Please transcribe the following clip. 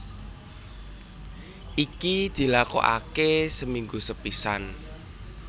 Iki dilakokake seminggu sepisan